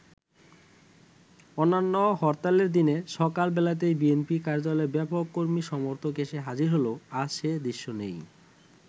অন্যান্য হরতালের দিনে সকাল বেলাতেই বিএনপি কার্যালয়ে ব্যাপক কর্মী-সমর্থক এসে হাজির হলেও আজ সে দৃশ্য নেই।